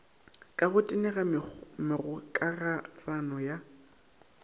ka go tenega megokarano ya